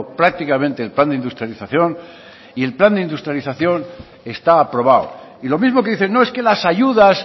prácticamente el plan de industrialización y el plan de industrialización está aprobado y lo mismo que dicen no es que las ayudas